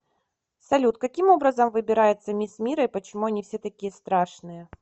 салют каким образом выбирается мисс мира и почему они все такие страшные